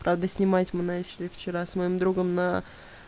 правда снимать мы начали вчера с моим другом на